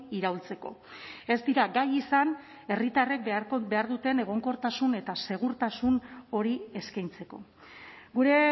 iraultzeko ez dira gai izan herritarrek behar duten egonkortasun eta segurtasun hori eskaintzeko gure